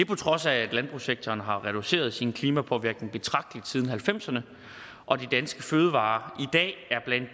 på trods af at landbrugssektoren har reduceret sin klimapåvirkning betragtelig siden nitten halvfemserne og de danske fødevarer